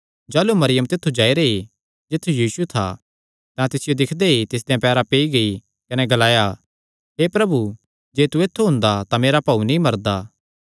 जाह़लू मरियम तित्थु जाई रेई जित्थु यीशु था तां तिसियो दिक्खदे ई तिसदेयां पैरां पेई गेई कने ग्लाया हे प्रभु जे तू ऐत्थु हुंदा तां मेरा भाऊ नीं मरदा